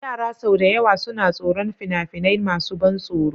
Yara sau da yawa suna tsoron fina-finai masu ban tsoro.